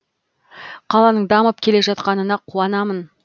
қаланың дамып келе жатқанына қуанамын